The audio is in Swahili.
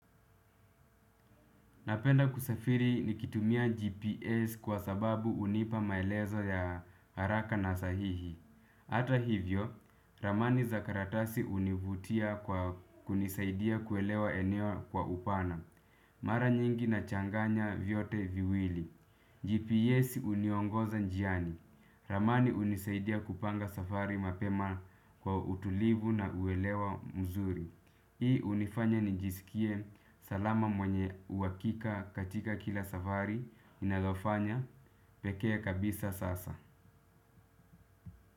Napenda kusafiri nikitumia GPS kwa sababu hunipa maelezo ya haraka na sahihi. Ata hivyo, ramani za karatasi hunivutia kwa kunisaidia kuelewa eneo kwa upana. Mara nyingi nachanganya vyote viwili GPS uniongoza njiani. Ramani hunisaidia kupanga safari mapema kwa utulivu na uelewa mzuri. Hii hunifanya nijisikie salama mwenye uhakika katika kila safari ninazofanya pekee kabisa sasa.